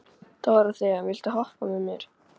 Dórothea, viltu hoppa með mér?